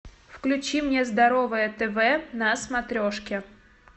включи мне здоровое тв на смотрешке